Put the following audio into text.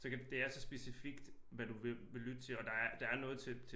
Så kan det er så specifikt hvad du vil vil lytte til og der er der er noget til